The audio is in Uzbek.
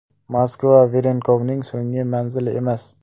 Moskva Varenkovning so‘nggi manzili emas.